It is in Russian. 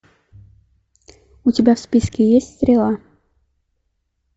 у тебя в списке есть стрела